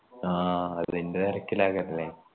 ആ അതിന്റെ തെരക്കിലാകല്ലേ